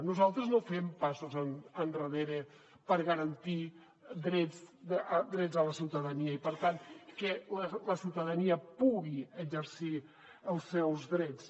nosaltres no fem passos endarrere per garantir drets a la ciutadania i per tant que la ciutadania pugui exercir els seus drets